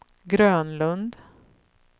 Grönlund